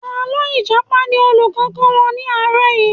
Àlọ́ Ìjàpá ni olùkọ́ kọ́ wa ní àárọ̀ yìí